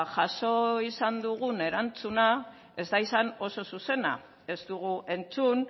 jaso izan dugun erantzuna ez da izan oso zuzena ez dugu entzun